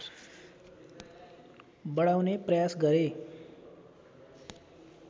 बढाउने प्रयास गरे